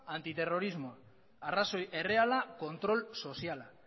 antiterrorismoa arrazoi erreala kontrol soziala